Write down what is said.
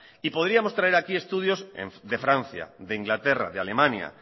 y podríamos traer aquí estudios de francia de inglaterra de alemania